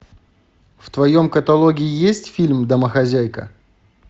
в твоем каталоге есть фильм домохозяйка